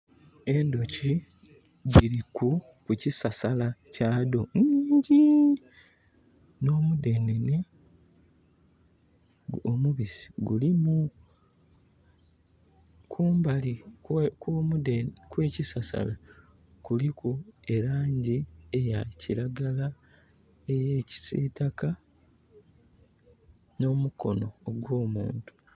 Endhuki dhiri ku kisasala kya dho inhingi nho mudhenene, omubisi gulimu. Kumbali okwe kisasala kuliku elangi eya kiragala, eya kisitaka no mukono ogw'omuntu.